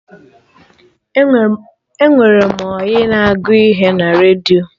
Enwere m ọyị na agụ ihe na redio